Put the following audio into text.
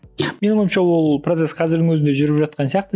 менің ойымша ол процесс қазірдің өзінде жүріп жатқан сияқты